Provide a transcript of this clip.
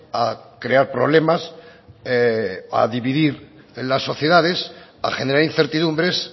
a crear problemas a dividir las sociedades a generar incertidumbres